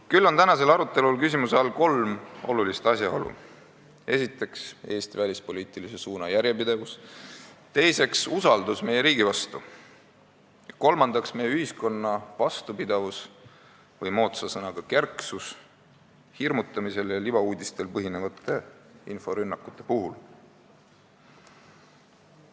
Küll on tänasel arutelul küsimuse all kolm olulist asjaolu: esiteks, Eesti välispoliitilise suuna järjepidevus, teiseks, usaldus meie riigi vastu, ja kolmandaks, meie ühiskonna vastupidavus või moodsa sõnaga "kerksus" hirmutamisel ja libauudistel põhinevate inforünnakute puhul.